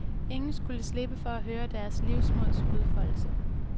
Ingen skulle slippe for at høre deres livsmods udfoldelse.